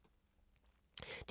DR2